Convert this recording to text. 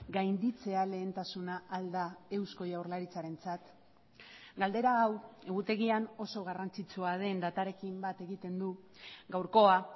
gainditzea lehentasuna ahal da eusko jaurlaritzarentzat galdera hau egutegian oso garrantzitsua den datarekin bat egiten du gaurkoa